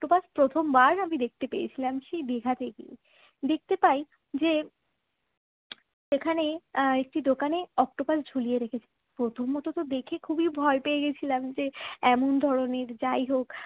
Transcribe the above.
Octopus প্রথম বার আমি দেখতে পেয়েছিলাম সেই দিঘাতে গিয়ে। দেখতে পাই যে এখানে একটি দোকানে অক্টোপাস ঝুলিয়ে রেখেছে প্রথমত তো দেখে খুবই ভয় পেয়ে গিয়েছিলাম যে এমন ধরনের যাই হোক